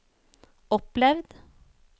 opplevd